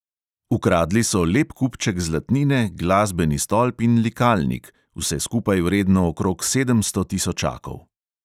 Ukradli so lep kupček zlatnine, glasbeni stolp in likalnik, vse skupaj vredno okrog sedemsto tisočakov.